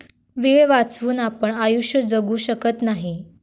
वेळ वाचवून आपण आयुष्य जगू शकत नाही